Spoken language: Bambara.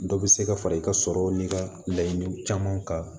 Dɔ bɛ se ka fara i ka sɔrɔ ni ka laɲini caman kan